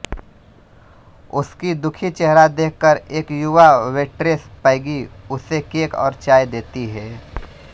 उस्की दुखी चेहरा देखकर् एक् युवा वेट्रेस पैगी उसे केक और चाय देती हे